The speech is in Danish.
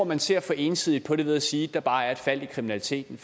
man ser for ensidigt på det ved at sige at der bare er et fald i kriminaliteten